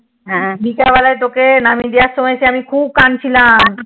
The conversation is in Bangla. হ্যান বিকেনবালা তোকে নাবিয়ে দেয়ার সময় আমি খুব কাঁদছিলাম